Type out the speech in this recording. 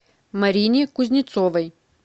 марине кузнецовой